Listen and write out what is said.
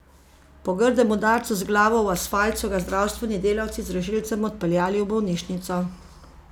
Po grdem udarcu z glavo v asfalt so ga zdravstveni delavci z rešilcem odpeljali v bolnišnico.